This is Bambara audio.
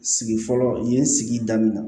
Sigi fɔlɔ yen sigi daminɛ